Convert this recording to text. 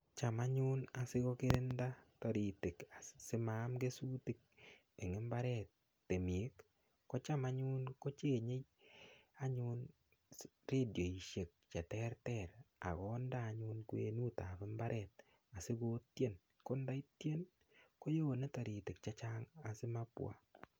Cham anyun asikokirinda toritik asimaam kesutik eng imbaret temik kocham anyun kochenge anyun redioishek cheterter ak konde anyun kwenutab imbaret asikotien ko ndo tien kowone toritik chechang asimabwa.